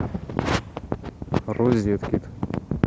розеткед